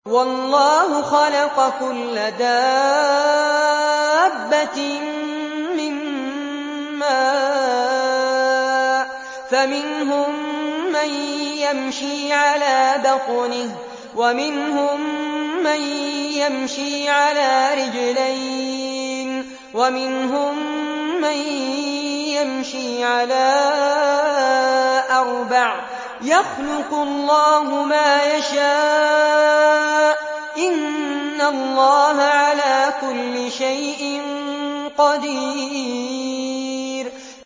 وَاللَّهُ خَلَقَ كُلَّ دَابَّةٍ مِّن مَّاءٍ ۖ فَمِنْهُم مَّن يَمْشِي عَلَىٰ بَطْنِهِ وَمِنْهُم مَّن يَمْشِي عَلَىٰ رِجْلَيْنِ وَمِنْهُم مَّن يَمْشِي عَلَىٰ أَرْبَعٍ ۚ يَخْلُقُ اللَّهُ مَا يَشَاءُ ۚ إِنَّ اللَّهَ عَلَىٰ كُلِّ شَيْءٍ قَدِيرٌ